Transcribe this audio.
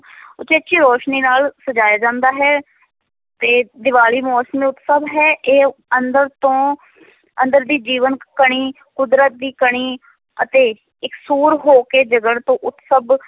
ਉਚੇਚੀ ਰੋਸ਼ਨੀ ਨਾਲ ਸਜਾਇਆ ਜਾਂਦਾ ਹੈ, ਤੇ ਦੀਵਾਲੀ ਮੌਸਮੀ ਉਤਸਵ ਹੈ ਇਹ ਅੰਦਰ ਤੋਂ ਅੰਦਰ ਦੀ ਜੀਵਨ ਕਣੀ, ਕੁਦਰਤ ਦੀ ਕਣੀ ਅਤੇ ਇਕਸੁਰ ਹੋ ਕੇ ਜਗਣ ਤੋਂ ਉਤਸਵ